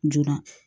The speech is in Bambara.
Jo